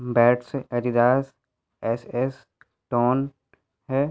Bats Adidas SS ton है।